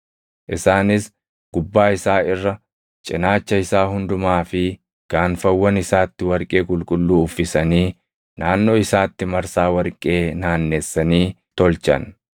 Isaanis gubbaa isaa irra, cinaacha isaa hundumaa fi gaanfawwan isaatti warqee qulqulluu uffisanii naannoo isaatti marsaa warqee naannessanii tolchan.